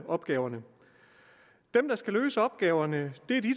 opgaverne dem der skal løse opgaverne